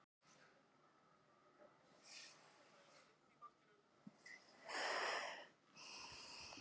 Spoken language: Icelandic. Það er því laust fyrir og sígur stundum undan brekkunni fyrir eigin þunga.